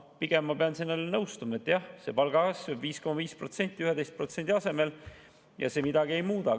Pigem ma pean nõustuma, et palgakasv 5,5% 11% asemel midagi ei muuda.